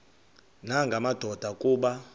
nanga madoda kuba